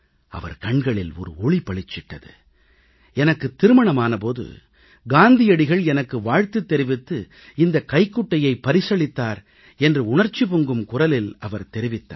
அவர் கண்களில் ஒரு ஒளி பளிச்சிட்டது எனக்குத் திருமணமான போது காந்தியடிகள் எனக்கு வாழ்த்துத் தெரிவித்து இந்தக் கைக்குட்டையை பரிசளித்தார் என்று உணர்ச்சி பொங்கும் குரலில் அவர் தெரிவித்தார்